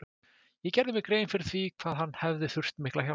Ég gerði mér grein fyrir því hvað hann hefði þurft mikla hjálp.